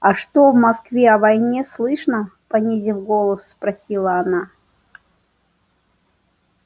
а что в москве о войне слышно понизив голос спросила она